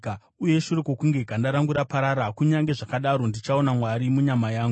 Uye shure kwokunge ganda rangu raparara, kunyange zvakadaro ndichaona Mwari munyama yangu;